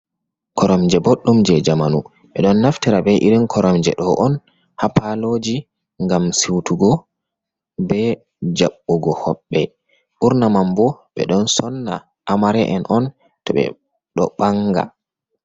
Koramje boɗdum je jamanu, ɓe ɗon naftira be irin koramje ɗo on ha paloji ngam siutugo be jaɓɓugo hoɓɓe, ɓurna mam bo ɓe ɗon sonna amare'en on to ɓe ɗo banga.